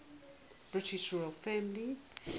british royal family